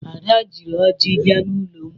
Ada jiri ọjị bịa n'ụlọ m.